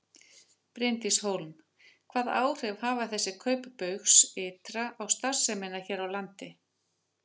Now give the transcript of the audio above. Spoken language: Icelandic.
Bryndís Hólm: Hvaða áhrif hafa þessi kaup Baugs ytra á starfsemina hér á landi?